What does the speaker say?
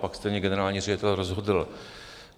Pak stejně generální ředitel rozhodl.